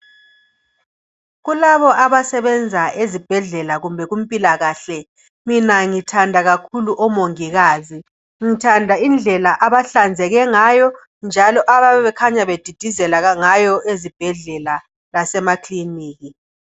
Kulabo abasebenza ezibhedlela kumbe kumpilakahle mina ngithanda kakhulu omongikazi. Ngithanda indlela abahlanzeke ngayo njalo abayabebekhanya bedidisela ngayo ezibhedlea lasemakliniki.